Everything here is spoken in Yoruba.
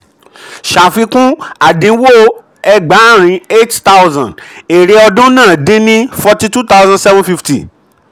ṣàfikún: àdínwó ẹgbàárin eight thousand èrè ọdún náà di ní forty two thousand seven fifty.